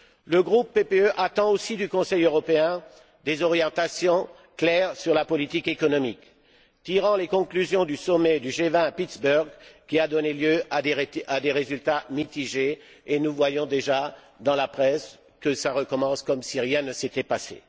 Le groupe PPE attend aussi du Conseil européen des orientations claires sur la politique économique, tirant les conclusions du sommet du G20 à Pittsburgh, qui a donné lieu à des résultats mitigés et nous voyons déjà, dans la presse, que ça recommence comme si rien ne s'était passé.